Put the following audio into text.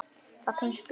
Fallin spýta